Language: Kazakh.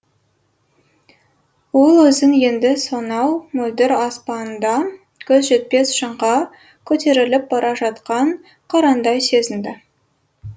ол өзін енді сонау мөлдір аспанда көз жетпес шыңға көтеріліп бара жатқан қырандай сезінді